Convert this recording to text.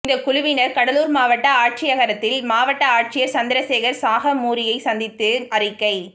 இந்தக் குழுவினா் கடலூா் மாவட்ட ஆட்சியரகத்தில் மாவட்ட ஆட்சியா் சந்திரசேகா் சாகமூரியை சந்தித்து அறிக்கை